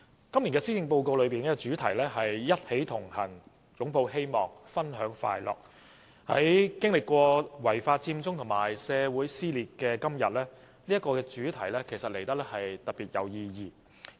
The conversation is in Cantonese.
今年施政報告的主題是"一起同行擁抱希望分享快樂"，在經歷了違法佔中和社會撕裂的今天，這個主題顯得特別有意義。